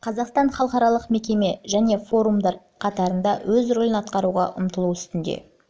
қазақстан халықаралық мекеме және форумдар қатарындағы өз рөлін арттыруға ұмтылу үстінде